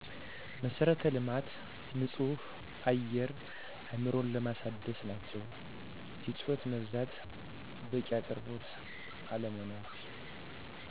መሠረተ ልማት ንፁህ አየር አእምሮን ለማደስ ናቸው። የጩኸት መብዛት በቂ አቅርቦት አለመኖር